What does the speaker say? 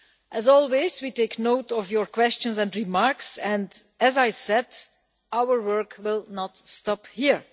As always, we take note of your questions and remarks and, as I said, our work will not stop here.